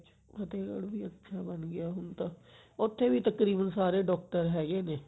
ਫਤੇਹਗਢ੍ਹ ਵੀ ਅੱਛਾ ਬੰਨ ਗਿਆ ਹੁਣ ਤਾਂ ਉੱਥੇ ਵੀ ਤਕਰੀਬਨ ਸਾਰੇ doctor ਹੈਗੇ ਨੇ